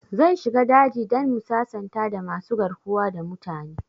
Zan shiga daji dan mu sasanta da masu garkuwa da mutane